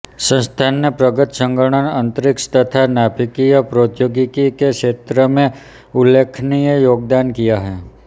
संस्थान ने प्रगत संगणन अंतरिक्ष तथा नाभिकीय प्रौद्योगिकी के क्षेत्र में उल्लेखनीय योगदान किया है